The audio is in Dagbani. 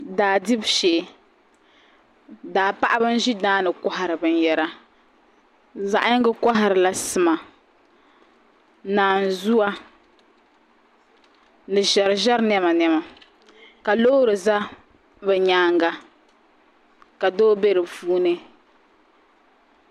Daa dibu shee daa paɣaba n ʒi daani kohari binyɛra zaɣ yinga koharila sima naanzuwa ni ʒɛriʒɛri niɛma niɛma ka loori ʒɛ bi nyaanga ka doo bɛ di puuni